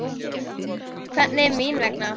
Hvernig mín vegna?